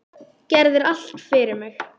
Gerðir allt fyrir mig.